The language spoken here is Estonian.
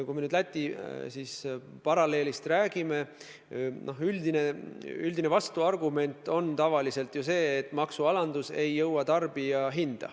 Kui me nüüd Läti paralleelist räägime, siis üldine vastuargument on tavaliselt see, et maksualandus ei jõua tarbijahinda.